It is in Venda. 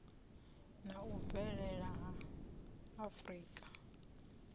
na u bvelela ha afurika